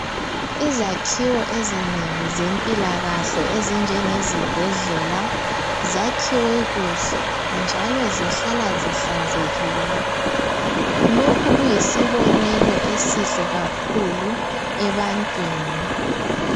Izakhiwo ezinengi zempilakahle ezinjenge zibhedlela zakhiwe kuhle njalo zihlala zihlanzekile lokhu kuyisibonelo esihle kakhulu ebantwini.